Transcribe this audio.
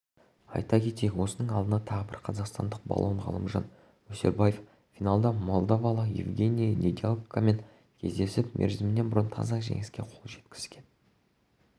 айта кетейік осының алдында тағы бір қазақстандық балуан ғалымжан өсербаев финалда молдавалық евгений недялкомен кездесіп мерзімінен бұрын таза жеңіске қол жеткізген